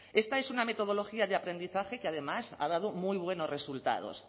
esta es una metodología de aprendizaje que además ha dado muy buenos resultados